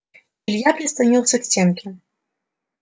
илья прислонился к стенке